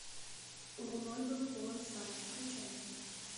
луной был полон сад включай